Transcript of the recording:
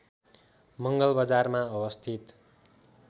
मङ्गलबजारमा अवस्थित